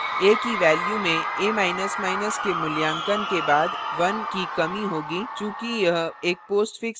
a की value में a के मूल्यांकन के बाद 1 की कमी होगी चूँकि यह एक postfix expression postfix expression है